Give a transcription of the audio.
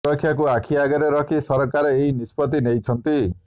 ସୁରକ୍ଷାକୁ ଆଖି ଆଗରେ ରଖି ସରକାର ଏହି ନିଷ୍ପତ୍ତି ନେଇଛନ୍ତି